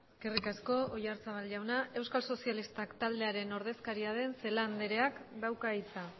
eskerrik asko oyarzabal jaunak euskal sozialistak taldearen ordezkaria den celaá andreak dauka hitza